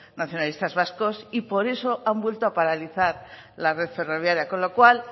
nacionalistas vascos y por eso han vuelto a paralizar la red ferroviaria con lo cual